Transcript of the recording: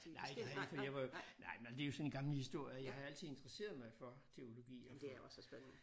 Nej det har jeg ikke for jeg var jo nej det jo sådan en gammel historie jeg har altid interesseret mig for teologiog for